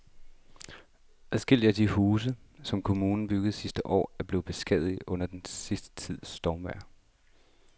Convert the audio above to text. Adskillige af de huse, som kommunen byggede sidste år, er blevet beskadiget under den sidste tids stormvejr.